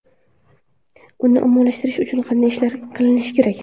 Uni ommalashtirish uchun qanday ishlar qilinishi kerak?